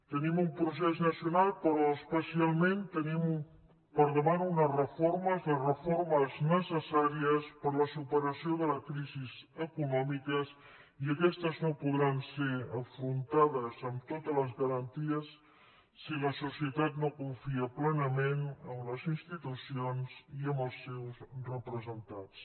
tenim un procés nacional però especialment tenim al davant unes reformes les reformes necessàries per a la superació de la crisi econòmica i aquestes no podran ser afrontades amb totes les garanties si la societat no confia plenament en les institucions i en els seus representants